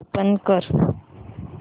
open कर